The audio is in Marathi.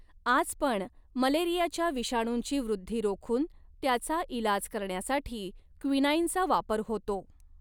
आज पण, मलेरियाच्या विषाणुंची वृद्धि रोखून त्याचा इलाज करण्यासाठी क्विनाइनचा वापर होतो.